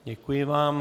Děkuji vám.